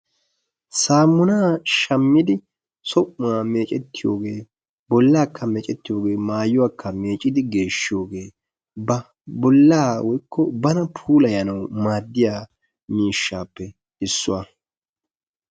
samuunaa shaammidi bollaa mecetiyoogee bollaakka meccetiyoogee maayuwaaka meeccidi geeshiyoogee ba bollaa woykko bana puulayanawu maaddiyaa miishshappe issuwaa.